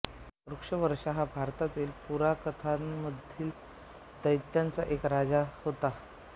वृषपर्वा हा भारतीय पुराणकथांमधील दैत्यांचा एक राजा होता